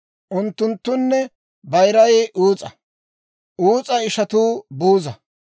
unttunttune bayiray Uus'a; Uus'a ishatuu Buuza,